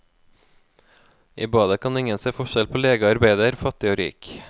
I badet kan ingen se forskjell på lege og arbeider, fattig og rik.